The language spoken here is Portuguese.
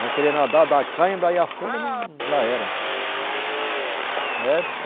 Vão querer nadar, dá cãibra, aí afunda, não, já era. É, é